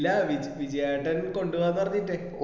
ഇല്ല വി വിജ്യ ഏട്ടൻ കൊണ്ടുപോവാന്ന് പറഞ്ഞിട്ടേ